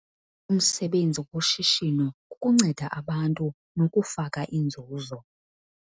Umsebenzi woshishino kukunceda abantu nokufaka inzuzo.